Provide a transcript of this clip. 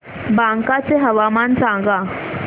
बांका चे हवामान सांगा